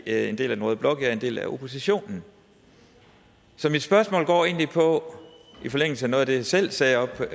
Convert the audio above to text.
en del af den røde blok jeg er en del af oppositionen så mit spørgsmål går egentlig i forlængelse af noget af det jeg selv sagde oppe